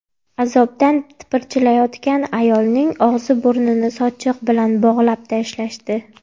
Azobdan tipirchilayotgan ayolning og‘zi-burnini sochiq bilan bog‘lab tashlashdi.